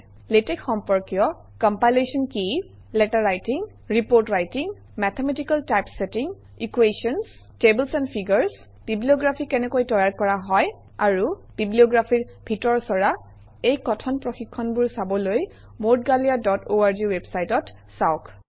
LaTeX সম্পৰ্কীয় - compilation কি পত্ৰ লেখন প্ৰতিবেদন লিখন গাণিতিক টাইপছেটিং সমীকৰণ টেবুল আৰু ফিগাৰ বিব্লিঅগ্ৰাফী কেনেকৈ তৈয়াৰ কৰা হয় বিব্লিঅগ্ৰাফীৰ ভিতৰচৰা - এই কথন প্ৰশিক্ষণবোৰ চাবলৈ moudgalyaঅৰ্গ ৱেবচাইট চাওক